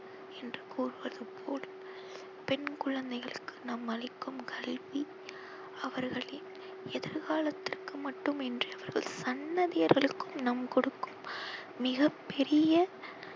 என்று கூறுவது போல் பெண் குழந்தைகளுக்கு நாம் அளிக்கும் கல்வி அவர்களின் எதிர் காலத்திற்கு மட்டுமின்றி அவர்களது சந்ததியர்களுக்கும் நாம் கொடுக்கும் மிக பெரிய